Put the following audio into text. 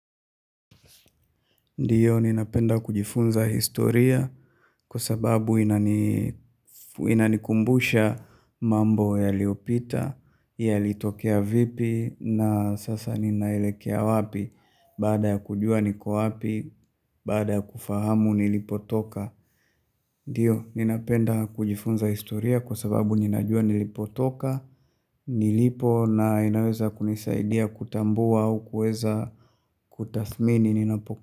Ndiyo, ninapenda kujifunza historia kwa sababu inanikumbusha mambo yaliopita, yalitokea vipi, na sasa ninaelekea wapi, baada ya kujua niko wapi, baada ya kufahamu nilipotoka. Ndiyo, ninapenda kujifunza historia kwa sababu ninajua nilipotoka, nilipo na inaweza kunisaidia kutambua au kuweza kutathmini ninapo.